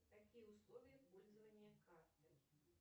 какие условия пользования картой